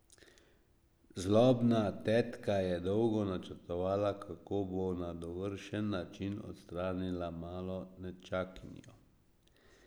Zlobna tetka je dolgo načrtovala, kako bo na dovršen način odstranila malo nečakinjo.